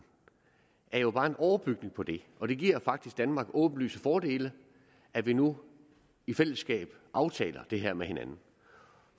er jo bare en overbygning på det og det giver faktisk danmark åbenlyse fordele at vi nu i fællesskab aftaler det her med hinanden